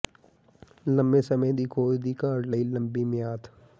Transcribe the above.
ਲੰਮੇ ਸਮੇਂ ਦੀ ਖੋਜ ਦੀ ਘਾਟ ਲਈ ਲੰਬੀ ਮਿਆਦ